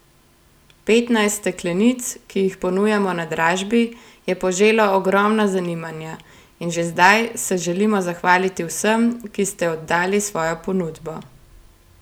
Petnajst steklenic, ki jih ponujamo na dražbi, je poželo ogromno zanimanja in že zdaj se želimo zahvaliti vsem, ki ste oddali svojo ponudbo.